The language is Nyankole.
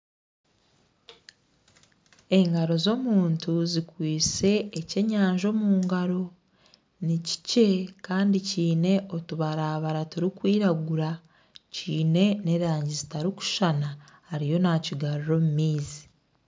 Engaro z'omuntu zikwaitse ekyenyanja omu ngaro. Ni kikye kandi kiine otubarabara turikwiragura, kiine n'erangi zitarikushushana, ariyo naakigarura omu maizi.